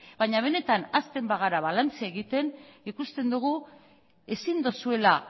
baina benetan hasten bagara balantzea egiten ikusten dugu ezin duzuela